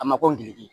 A ma ko ngilizi